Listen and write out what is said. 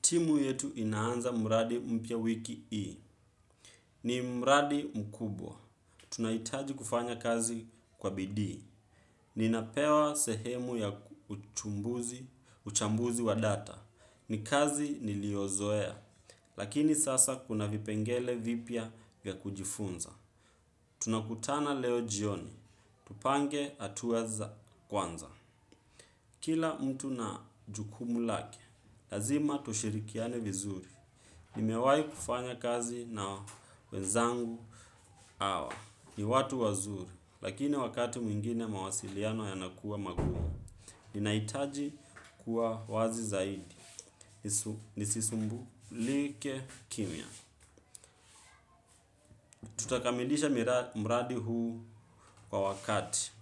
Timu yetu inaanza mradi mpya wiki hii. Ni muradi mkubwa. Tunahitaji kufanya kazi kwa bidii. Ninapewa sehemu ya uchambuzi wa data. Ni kazi niliozoea. Lakini sasa kuna vipengele vipya vya kujifunza. Tunakutana leo jioni. Tupange hatua za kwanza. Kila mtu na jukumu lake, lazima tushirikiane vizuri. Nimewai kufanya kazi na wenzangu hawa. Ni watu wazuri, lakini wakati mwingine mawasiliano yana kuwa magumu. Ninaitaji kuwa wazi zaidi. Nisisumbulike kimya. Tutakamilisha mradi huu kwa wakati.